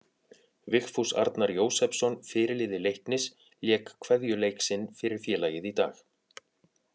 Vigfús Arnar Jósepsson fyrirliði Leiknis lék kveðjuleik sinn fyrir félagið í dag.